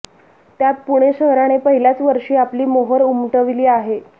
त्यात पुणे शहराने पहिल्याच वर्षी आपली मोहोर उमटविली आहे